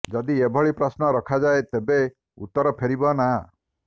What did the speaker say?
ଯଦି ଏଭଳି ପ୍ରଶ୍ନ ରଖାଯାଏ ତେବେ ଉତ୍ତର ଫେରିବ ନା